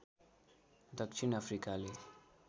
दक्षिण अफ्रिकाले